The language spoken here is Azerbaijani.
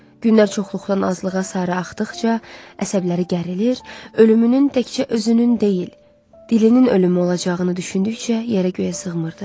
günlər çoxluqdan azlığa sarı axdıqca əsəbləri gərilir, ölümünün təkcə özünün deyil, dilinin ölümü olacağını düşündükcə yerə-göyə sığmırdı.